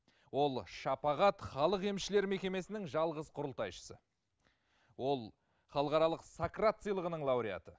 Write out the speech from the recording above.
ол шапағат халық емшілер мекемесінің жалғыз құрылтайшысы ол халықаралық сократ сыйлығының лауреаты